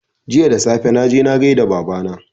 Jiya da safe, na je na gai da Baba na